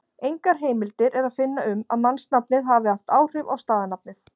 Engar heimildir er að finna um að mannsnafnið hafi haft áhrif á staðarnafnið.